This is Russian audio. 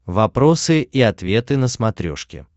вопросы и ответы на смотрешке